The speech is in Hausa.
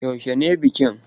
Yaushe ne bikin?